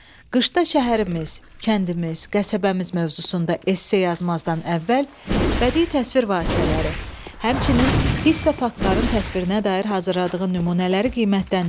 Qışda şəhərimiz, kəndimiz, qəsəbəmiz mövzusunda esse yazmazdan əvvəl bədii təsvir vasitələri, həmçinin hiss və faktların təsvirinə dair hazırladığın nümunələri qiymətləndir.